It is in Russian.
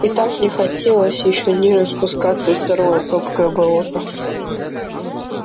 и так не хотелось ещё ниже спускаться в сырое топкое болото